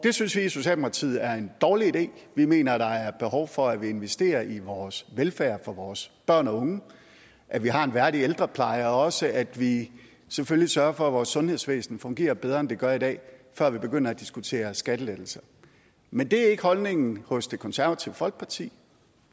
synes vi i socialdemokratiet er en dårlig idé vi mener der er behov for at vi investerer i vores velfærd for vores børn og unge at vi har en værdig ældrepleje og også at vi selvfølgelig sørger for at vores sundhedsvæsen fungerer bedre end det gør i dag før vi begynder at diskutere skattelettelser men det er ikke holdningen hos det konservative folkeparti